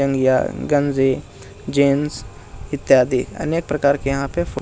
जांघिया गंजी जीन्स इत्यादि अनेक प्रकार के यहाँ पे फ --